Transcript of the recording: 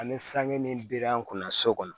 Ani sange min bɛ an kunna so kɔnɔ